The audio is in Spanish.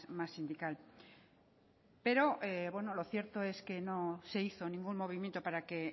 más sindical pero lo cierto es que no se hizo ningún movimiento para que